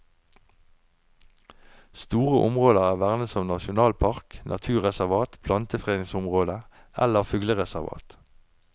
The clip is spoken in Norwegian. Store områder er vernet som nasjonalpark, naturreservat, plantefredningsområde eller fuglereservat.